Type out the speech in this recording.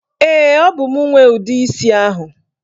Ee, ọ bụ mụ nwe ude isi ahụ.